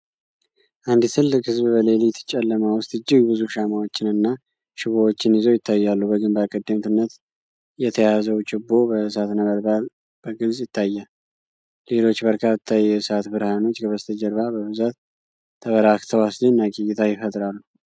አንድ ትልቅ ሕዝብ በሌሊት ጨለማ ውስጥ እጅግ ብዙ ሻማዎችንና ችቦዎችን ይዘው ይታያሉ። በግንባር ቀደምትነት የተያዘው ችቦ የእሳት ነበልባል በግልጽ ይታያል። ሌሎች በርካታ የእሳት ብርሃኖች ከበስተጀርባ በብዛት ተበራክተው አስደናቂ እይታ ይፈጥራሉ።